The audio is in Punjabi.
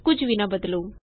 ਕੁਝ ਵੀ ਨਾ ਬਦਲੋ